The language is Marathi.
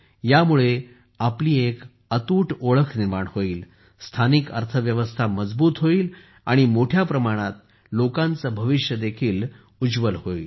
यामुळे आपली एक ठळक ओळख निर्माण होईल स्थानिक अर्थव्यवस्था मजबूत होईल आणि मोठ्या प्रमाणात लोकांचे भविष्य देखील उज्वल होईल